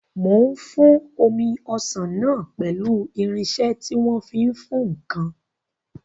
Mò ń fún omi ọsàn náà pẹ̀lú irinsẹ́ tí wọ́n fi ń fún ǹkan